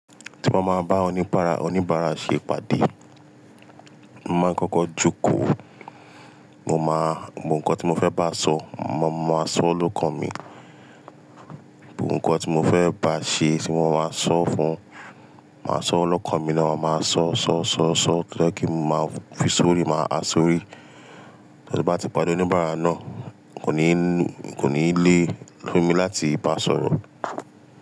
Ti n ba máa bá awon oníbàárà, oníbàárà ṣe ìpàdé, mo máa ń kọ́kọ́ jókòó. Mo máa, gbogbo nǹkan tí mo fẹ́ bá sọ, mo máa sọ ọlọ́kan mi. Gbogbo nǹkan tí mo fẹ́ bá ṣe tí mo máa sọ fún, màá sọ ọlọ́kan mi náà, màá sọ, sọ, sọ, sọ, to je kí mo máa fi sórí, màá ha sórí. So tin ba ti pàdé oníbàárà náà, kò ní, kò ní lé fún mi láti bá sọ̀rọ̀